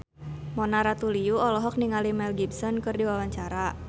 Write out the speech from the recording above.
Mona Ratuliu olohok ningali Mel Gibson keur diwawancara